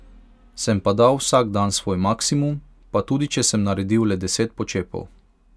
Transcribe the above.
Sem pa dal vsak dan svoj maksimum, pa tudi če sem naredil le deset počepov.